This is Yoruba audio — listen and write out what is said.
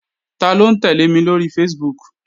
Taló ń tẹ́lẹ̀ mi lóri Facebook?